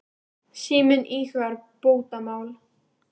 Síminn íhugar bótamál.